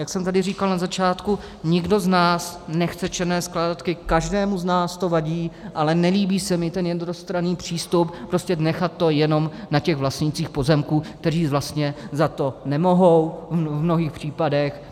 Jak jsem tady říkal na začátku, nikdo z nás nechce černé skládky, každému z nás to vadí, ale nelíbí se mi ten jednostranný přístup prostě nechat to jenom na těch vlastnících pozemků, kteří vlastně za to nemohou v mnohých případech.